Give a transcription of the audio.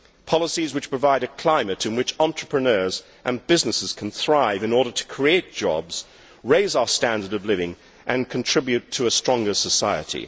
policies which provide a climate in which entrepreneurs and businesses can thrive in order to create jobs, raise our standard of living and contribute to a stronger society.